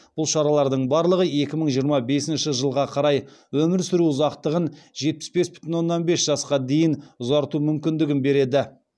бұл шаралардың барлығы екі мың жиырма бесінші жылға қарай өмір сүру ұзақтығын жетпіс бес бүтін оннан бес жасқа дейін ұзарту мүмкіндігін береді